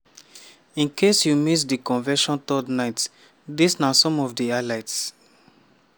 in case you miss di convention third night dis na some of di highlights.